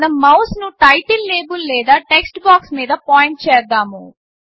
మనం మౌస్ను title label లేదా టెక్స్ట్ బాక్స్ మీద పాయింట్ చేద్దాము